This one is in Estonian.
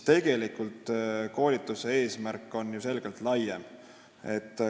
Tegelikult on ju selle koolituse eesmärk selgelt laiem.